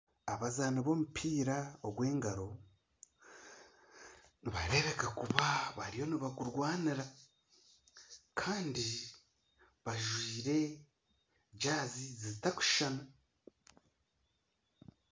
Abazaani b'omupiira ogw'engaro nibareebeka kuba bariyo nibagurwanira kandi bajwire jaazi zitarikushushana